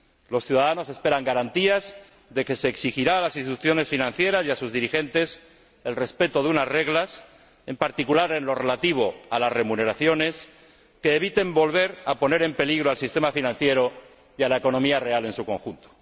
Los ciudadanos esperan garantías de que se exigirá a las instituciones financieras y a sus dirigentes el respeto de unas reglas, en particular en lo relativo a las remuneraciones, que impidan volver a poner en peligro el sistema financiero y la economía real en su conjunto.